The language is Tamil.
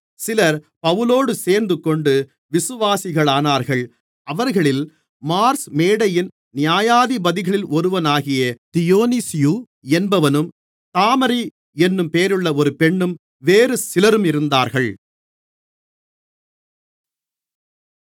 சிலர் பவுலோடு சேர்ந்துகொண்டு விசுவாசிகளானார்கள் அவர்களில் மார்ஸ் மேடையின் நியாயாதிபதிகளில் ஒருவனாகிய தியொனீசியு என்பவனும் தாமரி என்னும் பெயருள்ள ஒரு பெண்ணும் வேறு சிலரும் இருந்தார்கள்